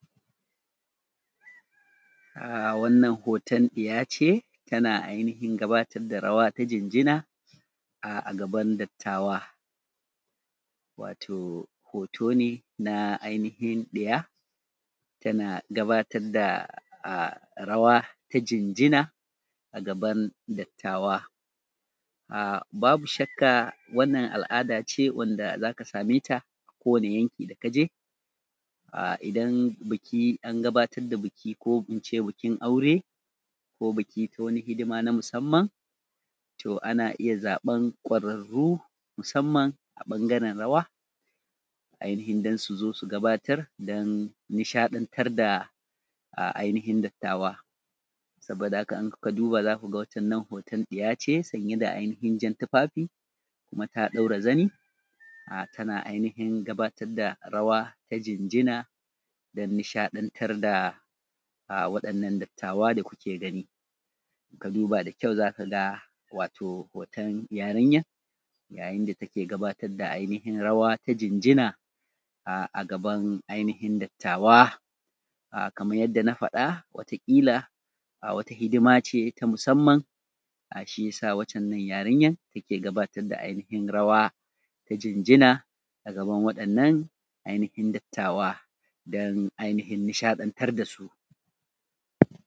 A wannan hoton ɗiya ce tana ainihin gabatar da rawa ta ginjina a a gaban dattawa, wato hoto ne na ainihin ɗiya da take da gabatar da rawan jinjina a gaban dattawa a’a babu shakka wannan al’ada ce da za ka same ta kowani yanki kake. A idan biki an gabatar da biki, bikin aure ko biki ko wani hidima na musamman to ana iya zaɓan kwararru musamman a ɓangaren rawa ainihin don su zo su gabatar su shaƙatar da ainihin dattawa. Saboda haka saboda haka za ku ga watan nan hoton ɗiya ce sanye da ainihin jan tufafi kuma ta ɗaura zani tana a ainihin gabatar da rawa ta jinjina don nishaɗantar da waɗannan dattawa da muke gani. Ka duba da kyau za ka wato hoton yarinyan yayin da take gabatar da wato ainihin rawa jinjina a agaban ainihin dattawa kamar yadda na faɗa wata ƙila a wata hidima ce ta musamman da shiyasa watan nan yariyan take gudanar da ainihin rawa ta jinjina a gaban waɗannan a ainihin dattawa dan ainihin nishaɗantar da su.